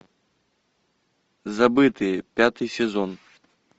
забытые пятый сезон